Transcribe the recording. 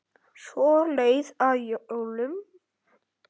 Svo leið að jólum.